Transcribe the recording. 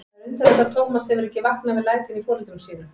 Það er undarlegt að Tómas hefur ekki vaknað við lætin í foreldrum sínum.